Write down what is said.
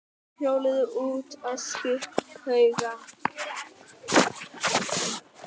Þeir hjóluðu út á öskuhauga.